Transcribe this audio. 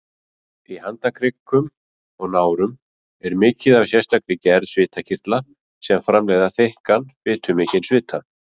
Í handarkrikum og nárum er mikið af sérstakri gerð svitakirtla sem framleiða þykkan, fitumikinn svita.